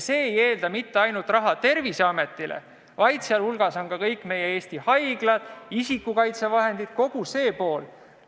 See ei eelda raha mitte ainult Terviseametile, vaid ka kõigile Eesti haiglatele, isikukaitsevahendite tarbeks – kogu see pool.